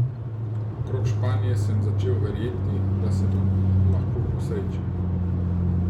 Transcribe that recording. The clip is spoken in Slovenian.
Okrog Španije sem začel verjeti, da se mi lahko posreči.